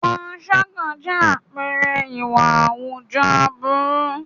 Panṣágà jẹ́ àpẹẹrẹ ìwà àwùjọ aburú.